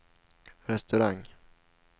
restaurang